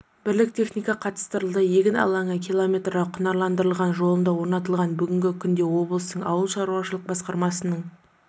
бірлік техника қатыстырылды егін алаңы км құнарландырылған жолында орнатылған бүгінгі күнде облыстың ауыл шаруашылық басқармасының